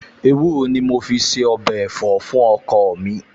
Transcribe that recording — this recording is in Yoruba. Ewúro ni mo fi se ọbẹ̀ ẹ̀fọ́ fún ọkọ mi